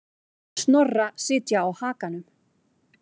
Snorra sitja á hakanum.